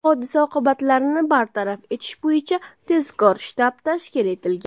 Hodisa oqibatlarini bartaraf etish bo‘yicha tezkor shtab tashkil etilgan.